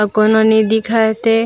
अऊ कोनो नई देखत हे।